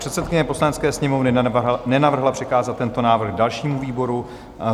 Předsedkyně Poslanecké sněmovny nenavrhla přikázat tento návrh dalšímu výboru.